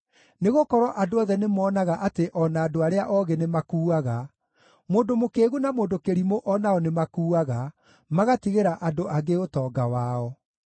Nĩgũkorwo andũ othe nĩmonaga atĩ o na andũ arĩa oogĩ nĩmakuuaga; mũndũ mũkĩĩgu na mũndũ kĩrimũ o nao nĩmakuaga, magatigĩra andũ angĩ ũtonga wao.